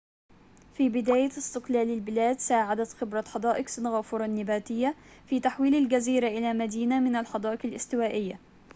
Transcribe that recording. في بداية استقلال البلاد ساعدت خبرة حدائق سنغافورة النباتية في تحويل الجزيرة إلى مدينة من الحدائق الاستوائية